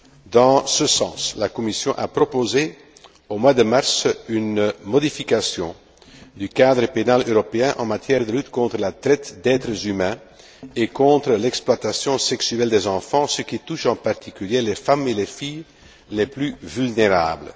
Dans ce sens, la Commission a proposé, au mois de mars, une modification du cadre pénal européen en matière de lutte contre la traite d'êtres humains et contre l'exploitation sexuelle des enfants, ce qui touche en particulier les femmes et les filles les plus vulnérables.